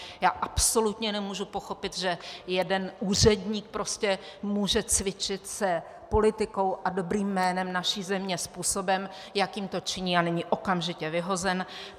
Já absolutně nemůžu pochopit, že jeden úředník prostě může cvičit s politikou a dobrým jménem naší země způsobem, jakým to činí, a není okamžitě vyhozen.